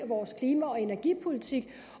vores klima og energipolitik